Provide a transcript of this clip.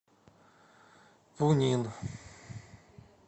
пунин